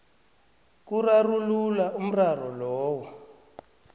kurarulula umraro loyo